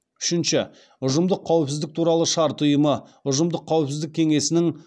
үшінші ұжымдық қауіпсіздік туралы шарт ұйымы ұжымдық қауіпсіздік кеңесінің